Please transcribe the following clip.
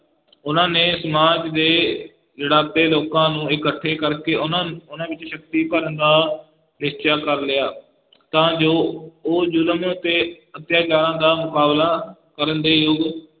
ਉਨ੍ਹਾਂ ਨੇ ਸਮਾਜ ਦੇ ਲਿਤਾੜੇ ਲੋਕਾਂ ਨੂੰ ਇਕੱਠੇ ਕਰਕੇ ਉਹਨਾਂ, ਉਹਨਾਂ ਵਿਚ ਸ਼ਕਤੀ ਭਰਨ ਦਾ ਨਿਸ਼ਚਾ ਕਰ ਲਿਆ ਤਾਂ ਜੋ ਉਹ ਜ਼ੁਲਮ ਅਤੇ ਅਤਿਆਚਾਰਾਂ ਦਾ ਮੁਕਾਬਲਾ ਕਰਨ ਦੇ ਯੋਗ,